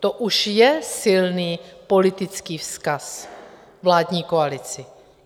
To už je silný politický vzkaz vládní koalici.